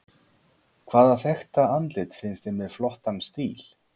Hvaða þekkta andlit finnst þér með flottan stíl?